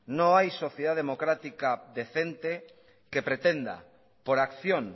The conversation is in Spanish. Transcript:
no hay sociedad democrática decente que pretenda por acción